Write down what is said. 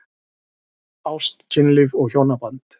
Ást, kynlíf og hjónaband